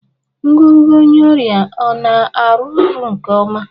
Ngụgụ onye ọrịa ọ na-arụ ọrụ nke ọma?